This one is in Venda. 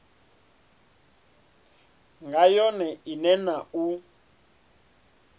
nga yone ine na u